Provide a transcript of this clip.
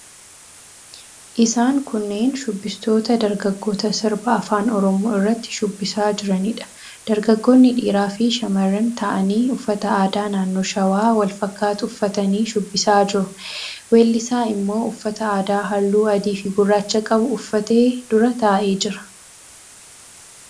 Isaan kunneen shubbistoota dargaggoota sirba afaan Oromoo irratti shubbisaa jiraniidha. Dargaggoonni dhiiraafi shamarran ta'anii uffata aadaa naannoo Shawaa wal fakkaatu uffatanii shubbisaa jiru. Weellisaa immoo uffata aadaa halluu adiifi gurraacha qabu uffatee dura taa'ee jira.